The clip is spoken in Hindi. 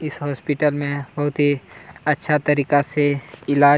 इस हॉस्पिटल में बहुत ही अच्छा तरीका से इलाज --